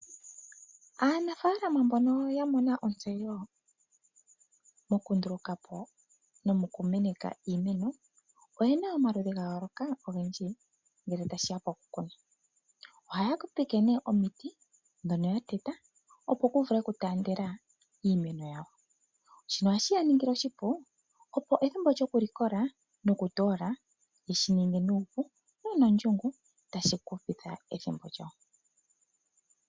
Aanafaalama mbono yamona ontseyo mokundulukapo nomokumeneka iimeno oyena omaludhi ga yooloka ngoka ogendji ngele tashiya pokukuna .ohaya kokeke omiti ndhono ya teta opo kuvule okutaandela shino ohashiyaningile oshipu opo ethimbo lyoku likola noku toola yeshininge nuupu nonondjungu tashi hupitha ethimbo lyawo.